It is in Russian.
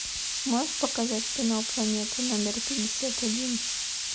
можешь показать кино планета номер пятьдесят один